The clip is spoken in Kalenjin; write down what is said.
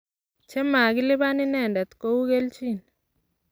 che makeliban inendet ko u keljin.